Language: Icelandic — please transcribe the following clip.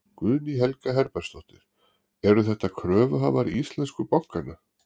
Guðný Helga Herbertsdóttir: Eru þetta kröfuhafar íslensku bankanna?